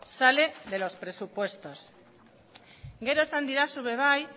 sale de los presupuestos gero esan didazu ere bai